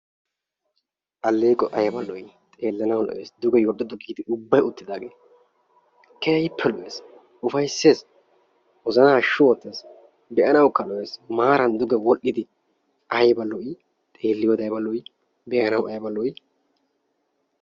Alleeqoyi ayba lo7ii xeellanawu lo7ees duge yorddoddu giidi ubbayi uttidaagee keehippe lo7ees ufayisses wozanaa hashshu oottes be7anawukka lo7es maaran duge wodhdhidi ayiba lo7ii xeelliyoode ayiba lo7ii be7anawu ayba lo7ii.